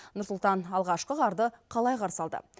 нұр сұлтан алғашқы қарды қалай қарсы алды